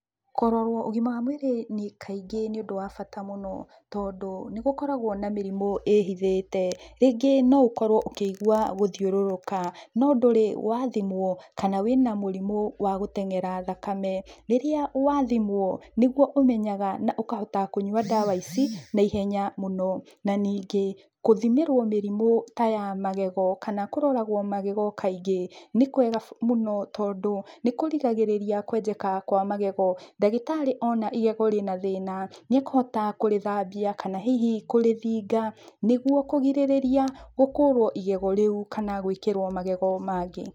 Kũrorwo ũgima wa mwĩrĩ kaingĩ nĩ ũndũ wa bata mũno, tondũ nĩgũkoragwo na mĩrimũ ĩhithĩte. Rĩngĩ no ũkorwo ũkĩigwa gũthiũrũrũka no ndũrĩ wa thimwo kana wĩna mũrimũ wa gũteng'era thakame, rĩrĩa wathimwo nĩguo ũmenyaga na ũkahota kũnyua ndawa ici na ihenya mũno. Na ningĩ gũthimĩrwo mĩrimũ ta ya magego kana kũroragwo magego kaingĩ nĩ kwega tondũ nĩkũrigagĩrĩria kwenjeka kwa magego, ndagĩtarĩ ona igego rĩna thĩna nĩakũhota kũrĩthambia kana hihi kũrĩthinga nĩguo kũrigĩrĩria gũkũrwo igego rĩu kana gwĩkĩrwo magego mangĩ.